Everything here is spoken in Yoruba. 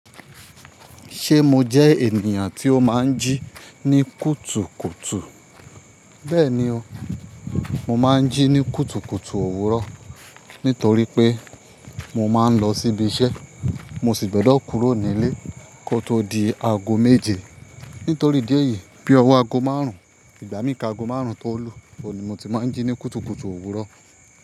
Ṣé mo jẹ́ ènìyàn tí ó máa ń jí ní kùtùkùtù? Bẹ́ẹ̀ni o, mo máa ń jí ní kùtùkùtù òwúrọ̀ nítorí pé mo máa ń lọ síbi iṣẹ́, mo sì gbọdọ̀ kúrò nílé kó tó di aago méje. Nítorí ìdí eyìí bí owó aago márùn-ún, ìgbà míi ka aago márùn-ún tó lu, ọ̀ní mo ti máa ń jí ní kùtùkùtù òwúrọ̀